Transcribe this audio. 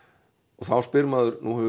og þá spyr maður nú hefur